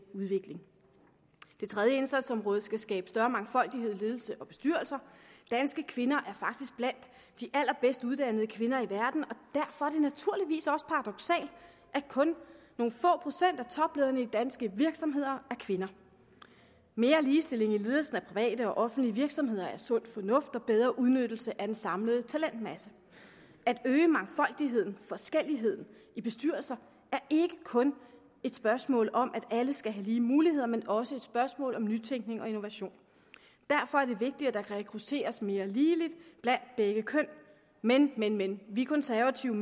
tredje indsatsområde skal skabe større mangfoldighed i ledelser og bestyrelser danske kvinder er faktisk blandt de allerbedst uddannede kvinder i verden og derfor er det naturligvis også paradoksalt at kun nogle få procent af toplederne i danske virksomheder er kvinder mere ligestilling i ledelsen af private og offentlige virksomheder er sund fornuft og bedre udnyttelse af den samlede talentmasse at øge mangfoldigheden forskelligheden i bestyrelser er ikke kun et spørgsmål om at alle skal have lige muligheder men også et spørgsmål om nytænkning og innovation derfor er det vigtigt at der rekrutteres mere ligeligt blandt begge køn men men men vi konservative